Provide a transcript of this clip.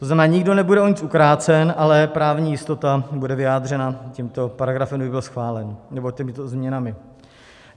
To znamená, nikdo nebude o nic ukrácen, ale právní jistota bude vyjádřena tímto paragrafem, kdyby byl schválen, nebo těmito změnami.